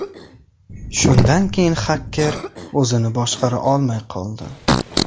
Shundan keyin xaker o‘zini boshqara olmay qoldi.